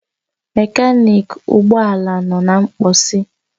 Mekaniki ụgbọ ala nọ na mposi